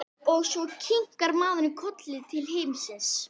Kirkjusand og skreytt alla strætisvagnana vígorðum.